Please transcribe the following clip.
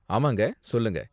ஆமாங்க, சொல்லுங்க?